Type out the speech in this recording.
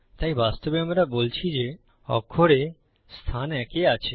তাই বাস্তবে আমরা বলছি যে অক্ষর A স্থান এক এ আছে